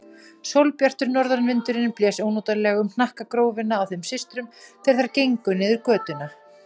Sólbjartur norðanvindurinn blés ónotalega um hnakkagrófina á þeim systrum þegar þær gengu niður götuna.